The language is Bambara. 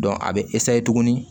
a bɛ tuguni